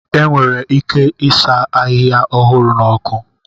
Enwere ike ịsa ahịhịa ọhụrụ n'ọkụ